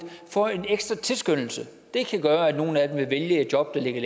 får en ekstra tilskyndelse det kan gøre at nogle af dem vil vælge et job der ligger